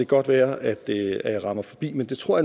godt være at jeg rammer forbi men det tror